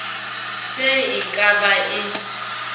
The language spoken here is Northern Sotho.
se e ka ba e